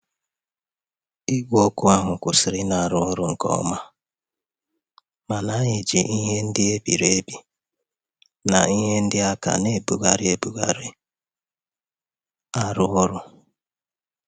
Igwe okụ ahụ kwụsịrị ịrụ ọrụ nko oma, ma anyị ji ihe ndị e biri ebi na ihe ndị aka a na-ebugharị ebugharị rụọ ọrụ.